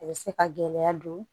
A bɛ se ka gɛlɛya don